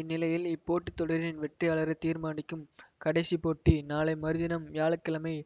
இந்நிலையில் இப்போட்டித் தொடரின் வெற்றியாளரைத் தீர்மானிக்கும் கடைசிப் போட்டி நாளை மறுதினம் வியாழ கிழமை